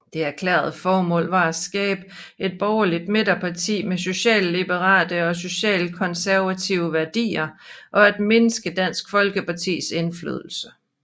Det erklærede formål var at skabe et borgerligt midterparti med socialliberale og socialkonservative værdier og at mindske Dansk Folkepartis indflydelse